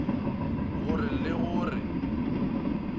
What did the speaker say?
go re le go re